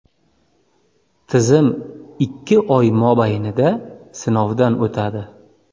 Tizim ikki oy mobaynida sinovdan o‘tadi.